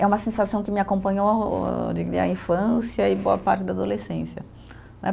É uma sensação que me acompanhou a infância e boa parte da adolescência.